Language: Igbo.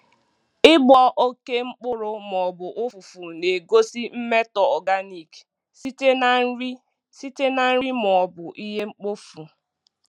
Ịgbọ oke mkpụrụ ma ọ bụ ụfụfụ na-egosi mmetọ organic site na nri site na nri ma ọ bụ ihe mkpofu.